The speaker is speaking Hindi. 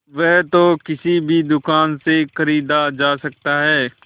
वह तो किसी भी दुकान से खरीदा जा सकता है